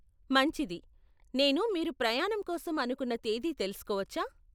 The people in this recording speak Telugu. మంచిది, నేను మీరు ప్రయాణం కోసం అనుకున్న తేదీ తెలుసుకోవచ్చా?